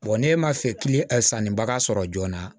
ne ma fɛ ki san ni bagan sɔrɔ joona